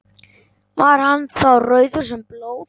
Var hann þá rauður sem blóð.